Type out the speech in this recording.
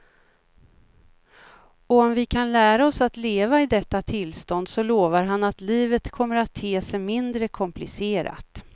Och om vi kan lära oss att leva i detta tillstånd så lovar han att livet kommer att te sig mindre komplicerat.